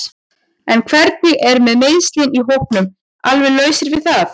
En hvernig er með meiðslin í hópnum alveg lausar við það?